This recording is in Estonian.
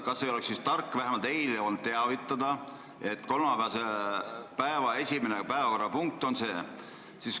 Kas ei oleks siis olnud tark vähemalt eile teavitada, et kolmapäeval on esimene päevakorrapunkt see?